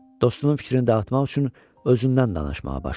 Dostunun fikrini dağıtmaq üçün özündən danışmağa başladı.